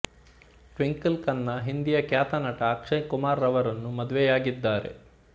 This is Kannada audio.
ಟ್ವಿಂಕಲ್ ಖನ್ನಾ ಹಿಂದಿಯ ಖ್ಯಾತ ನಟ ಅಕ್ಷಯ್ ಕುಮಾರ್ ರವರನ್ನು ಮದುವೆಯಾಗಿದ್ದಾರೆ